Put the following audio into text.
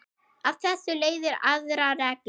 Af þessu leiðir aðra reglu